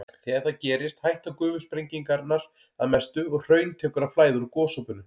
Þegar það gerist hætta gufusprengingarnar að mestu og hraun tekur að flæða úr gosopinu.